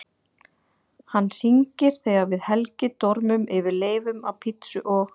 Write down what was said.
Hann hringir þegar við Helgi dormum yfir leifum af pizzu og